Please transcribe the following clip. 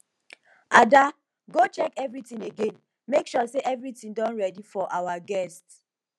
ada go check everything again make sure say everything don ready for our guests